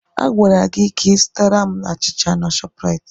Agwara gị ka ị zụtara m achịcha na Shọpraịt!